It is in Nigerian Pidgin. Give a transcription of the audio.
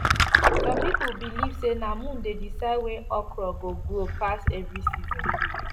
some people believe say na moon dey decide where okra go grow pass every season